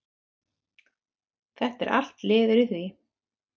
Þetta er allt liður í því?